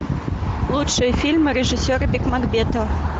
лучшие фильмы режиссера бекмамбетова